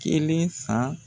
Kelen san